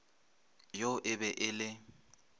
yo e be e le